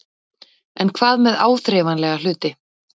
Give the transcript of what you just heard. En hvað með áþreifanlega hluti?